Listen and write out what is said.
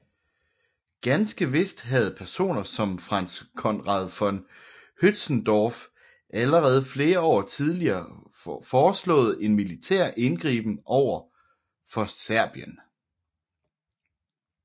Ganske vist havde personer som Franz Conrad von Hötzendorf allerede flere år tidligere foreslået en militær indgriben overfor Serbien